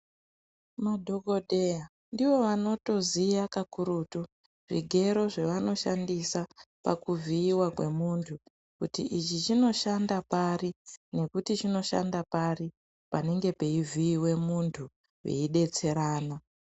Madhogodheya ndivo vanotoziya kakurutu zvigero zvavanoshandisa pakuvhiiva kwemuntu. Kuti ichi chinoshanda pari nokuti chinoshanda pari panenge peivhiive muntu veidetserana.